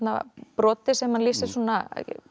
broti sem hann lýsir svona